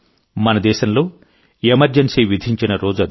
మన దేశంలో ఎమర్జెన్సీ విధించిన రోజు అది